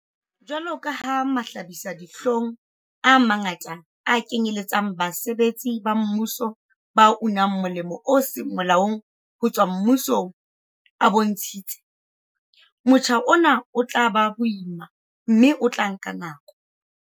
Jwalo ka mahlabisa-dihlong a mangata a kenyeletsang basebetsi ba mmuso ba unang molemo o seng molaong ho tswa mmusong a bontshitse, motjha ona o tla ba boima mme o tla nka nako.